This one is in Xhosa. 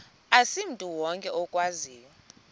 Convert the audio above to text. asimntu wonke okwaziyo